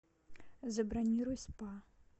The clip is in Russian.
забронируй спа